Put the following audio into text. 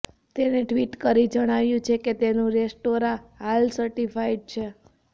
તેણે ટ્વિટ કરી જણાવ્યું છે કે તેનું દરેક રેસ્ટોરાં હલાલ સર્ટિફાઇડ છે